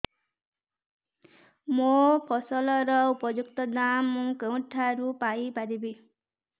ମୋ ଫସଲର ଉପଯୁକ୍ତ ଦାମ୍ ମୁଁ କେଉଁଠାରୁ ପାଇ ପାରିବି